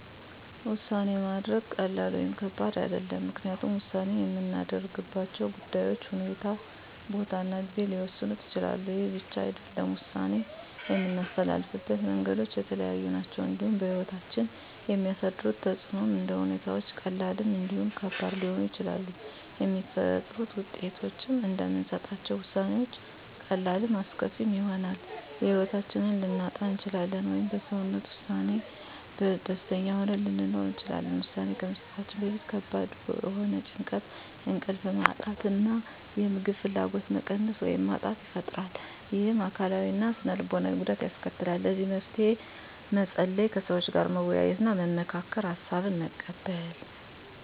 ውሳኔ ማድረግ ቀላል ወይም ከባድ አይደለም ምክንያቱም ውሳኔ የምናደርግባቸው ጉዳዮች ሁኔታ ቦታ እና ጊዜ ሊወሰኑት ይችላሉ ይህ ብቻ አይደለም ውሳኔ የምናስተላልፍበት መንገዶች የተለያዩ ናቸው እንዲሁም በህይወታችን የሚያሳድሩት ተፅእኖም እንደ ሁኔታዎች ቀላልም እንዲሁም ከባድ ሊሆኑ ይችላሉ የሚፈጥሩት ውጤቶችም እንደምንሰጣቸው ውሳኔዎች ቀላልም አስከፊም ይሆናል የህይወታችንን ልናጣ እንችላለን ወይም በወሰነው ውሳኔ ደስተኛ ሆነን ልንኖር እንችላለን ውሳኔ ከመስጠታችን በፊት ከባድ የሆነ ጭንቀት እንቅልፍ ማጣት የምግብ ፍላጎት መቀነስ ወይም ማጣት ይፈጥራል ይህም አካላዊ እና ስነ ልቦናዊ ጉዳት ያስከትላል ለዚህ መፍትሄ መፀለይ ከሰዎች ጋር መወያየትና መመካከር ሀሳብን መቀበል